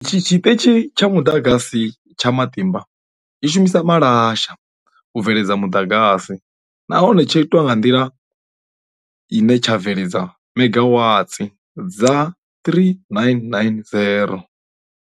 Tshiṱitshi tsha Muḓagasi tsha Matimba tshi shumisa malasha u bveledza muḓagasi, nahone tsho itwa nga nḓila ine tsha bveledza Mega Watsi dza 3990.